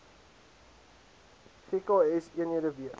gks eenhede weet